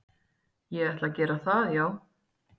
Ég ætla að gera það já